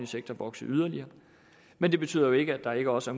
sektor vokse yderligere men det betyder jo ikke at der ikke også